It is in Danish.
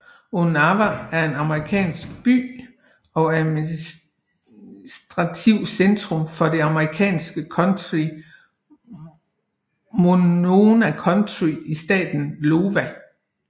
Onawa er en amerikansk by og administrativt centrum for det amerikanske county Monona County i staten Iowa